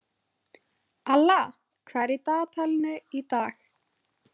Alla, hvað er í dagatalinu í dag?